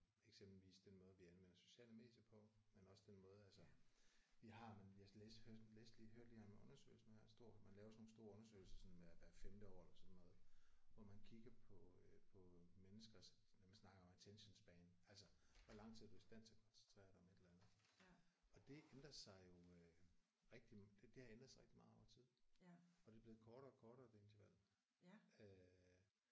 Eksempelvis den måde vi anvender sociale medier på. Men også den måde altså vi har men jeg læste hørte læste lige hørte lige om en undersøgelse nu her stor man laver sådan nogle store undersøgelser sådan hvert hvert femte år eller sådan noget hvor man kigger på øh på menneskers man snakker om attention span altså hvor lang tid du er i stand til at koncentrere dig om et eller andet og det ændrer sig jo øh rigtig det har ændret sig rigtig meget over tid og det er blevet kortere og kortere det interval øh